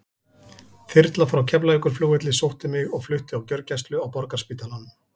Þyrla frá Keflavíkurflugvelli sótti mig og flutti á gjörgæslu á Borgarspítalanum.